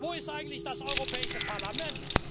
Wo ist eigentlich das Europäische Parlament?